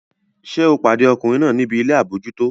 Ṣé o pàdé ọkùnrin náà níbi ilé àbójútó?